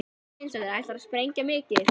Erla Hlynsdóttir: Ætlarðu að sprengja mikið?